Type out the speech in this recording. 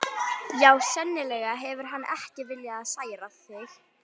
Já, sennilega hefur hann ekki viljað særa þig.